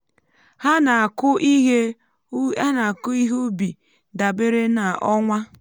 ha na-akụ ihe ubi um dabere um na ọnwa.